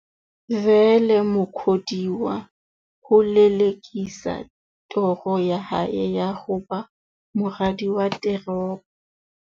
Vele Mukhodiwa ho lele-kisa toro ya hae ya ho ba moradi wa teropo.